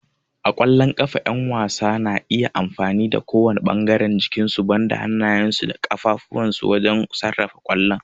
A ƙwallon ƙafa, ƴan wasan na iya amfani da kowane ɓangaren jikinsu banda hannayensu da kafadunsu wajen sarrafa kwallon.